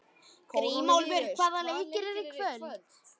Grímólfur, hvaða leikir eru í kvöld?